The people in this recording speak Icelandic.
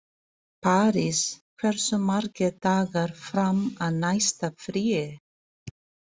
París, hversu margir dagar fram að næsta fríi?